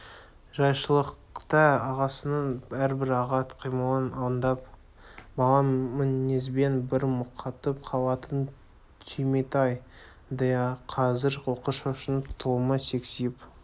жайшылықта ағасының әрбір ағат қимылын аңдып бала мінезбен бір мұқатып қалатын түйметай да қазір оқыс шошынып тұлымы сексиіп